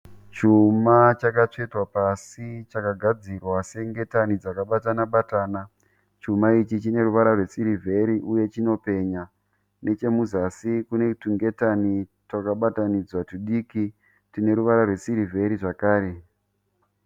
Chuma chakatswetwa pasi chakagadzirwa sengetani dzakabatana batana. Chuma ichi chine ruvara rwesirivheri uye chinopenya. Nechemuzasi kune tungetani twakabatanidzwa tudiki tune ruvara rwesirivheri zvakare.